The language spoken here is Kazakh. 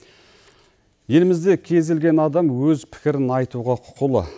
елімізде кез келген адам өз пікірін айтуға құқылы